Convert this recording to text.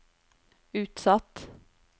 utsatt